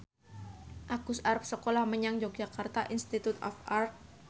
Agus arep sekolah menyang Yogyakarta Institute of Art